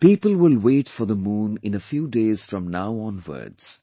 People will wait for the moon in a few days from now onwards